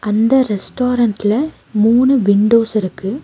இந்த ரெஸ்டாரண்ட்ல மூணு விண்டோஸ் இருக்கு.